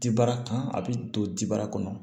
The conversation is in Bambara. Ti bara kan a bɛ don dibara kɔnɔ